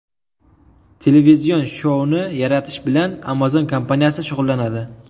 Televizion shouni yaratish bilan Amazon kompaniyasi shug‘ullanadi.